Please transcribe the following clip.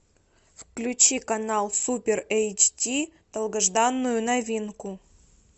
включи канал супер эйчди долгожданную новинку